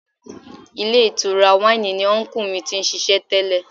Ilé ìtura wáìnì ni unkú mi ti ń ṣiṣẹ́ tẹ́lẹ̀.